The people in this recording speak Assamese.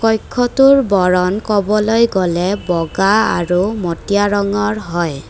কক্ষটোৰ বৰণ ক'বলৈ গলে বগা আৰু মটিয়া ৰঙৰ হয়।